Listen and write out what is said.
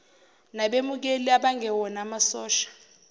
nabemukeli abangewona amasosha